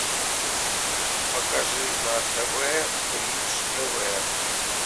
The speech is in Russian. покажи на тв бридж тв